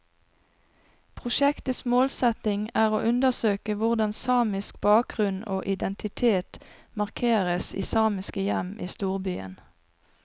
Prosjektets målsetning er å undersøke hvordan samisk bakgrunn og identitet markeres i samiske hjem i storbyen.